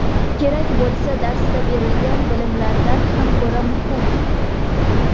kerak bo‘lsa darsda berilgan bilimlardan ham ko‘ra muhim.